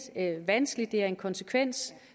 vanskeligt det er en konsekvens